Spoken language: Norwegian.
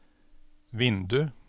vindu